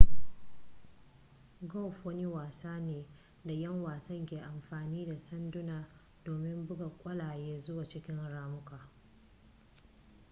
golf wani wasa ne da ƴan wasan ke amfani da sanduna domin buga ƙwallaye zuwa cikin ramuka